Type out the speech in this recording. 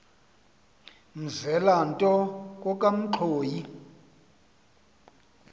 mzela nto kokamanxhoyi